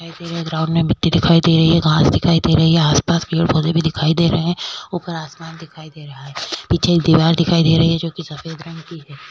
यहाँ पे ग्राउंड में मिटटी दिखाई दे रही है घास दिखाई दे रही है आस-पास पेड़-पौधे भी दिखाई दे रहे है ऊपर आसमान दिखाई दे रहा है पीछे एक रही है जो की सफेद रंग की है।